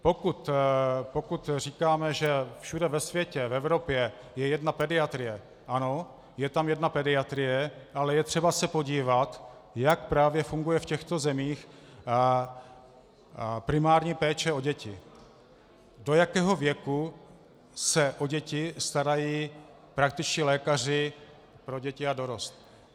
Pokud říkáme, že všude ve světě, v Evropě je jedna pediatrie, ano, je tam jedna pediatrie, ale je třeba se podívat, jak právě funguje v těchto zemích primární péče o děti, do jakého věku se o děti starají praktičtí lékaři pro děti a dorost.